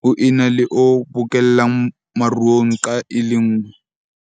ho ena le o bokellang maruo nqa e le nngwe.